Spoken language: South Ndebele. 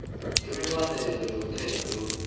imibandela yomthetho lo